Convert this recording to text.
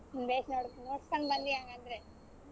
ಬೇಷ್ ನೋಡ್ ಮುಗಿಸ್ಕೊಂಡ್ ಬಂದ್ರಿ ಹಾಗಾದ್ರೆ.